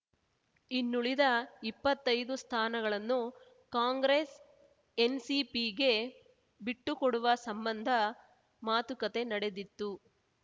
ಇನ್ನುಳಿದ ಇಪ್ಪತ್ತೈದು ಸ್ಥಾನಗಳನ್ನು ಕಾಂಗ್ರೆಸ್ ಎನ್‌ಸಿಪಿಗೆ ಬಿಟ್ಟುಕೊಡುವ ಸಂಬಂಧ ಮಾತುಕತೆ ನಡೆದಿತ್ತು